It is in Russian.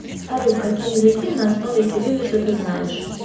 салют какие языки на основе кириллицы ты знаешь